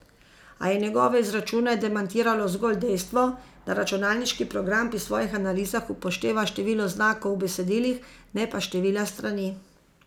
A je njegove izračune demantiralo zgolj dejstvo, da računalniški program pri svojih analizah upošteva število znakov v besedilih, ne pa števila strani.